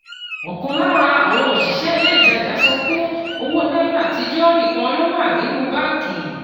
Ọ̀kan lára àwọn òṣìṣẹ́ ilé ìtajà sọ pé owó náírà àtijọ́ nìkan ló wà nínú báńkì